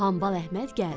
Hambal Əhməd gəldi.